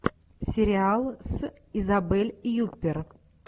сериал с изабель юппер